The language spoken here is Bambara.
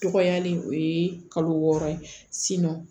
Tɔgɔya nin o ye kalo wɔɔrɔ ye